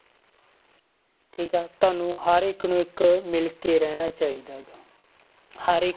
ਠੀਕ ਆ ਤੁਹਾਨੂੰ ਹਰ ਇੱਕ ਨੂੰ ਇੱਕ ਮਿਲ ਕੇ ਰਹਿਣਾ ਚਾਹੀਦਾ ਹੈਗਾ ਹਰ